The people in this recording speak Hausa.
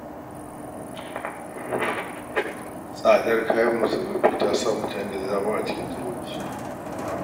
Tsadar kayan masarufi ta sa mutane da dama a cikin talauci